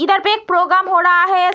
इधर पे एक प्रोग्राम हो रहा है।